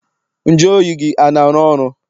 Nju oyi gị ana arụ ọrụ?